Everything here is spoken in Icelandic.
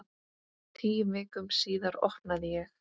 Tíu vikum síðar opnaði ég.